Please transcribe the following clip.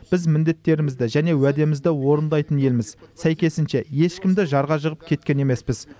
біз міндеттерімізді және уәдемізді орындайтын елміз сәйкесінше ешкімді жарға жығып кеткен емеспіз